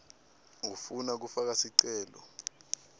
ufuna kufaka sicelo